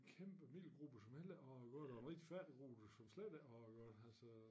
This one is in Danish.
Kæmpe middelgruppe som heller ikke har at godt og en rigtig fattig gruppe som slet ikke har det godt altså